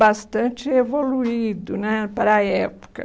bastante evoluído né para a época.